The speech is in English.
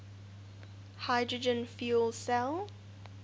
hydrogen fuel cell